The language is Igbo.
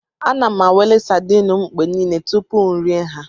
Ana m anwale sadin m mgbe niile tupu m erie ha.